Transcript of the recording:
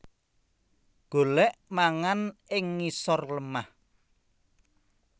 Golèk mangan ing ngisor lemah